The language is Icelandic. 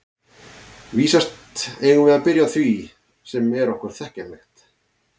Vísast eigum við að byrja á því sem er okkur þekkjanlegt.